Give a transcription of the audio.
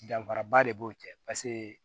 Danfaraba de b'o cɛ paseke